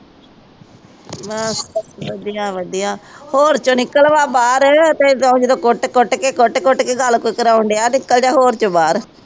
ਬੱਸ ਵਧਿਆ ਵਧਿਆ ਹੋਰ ਚੋ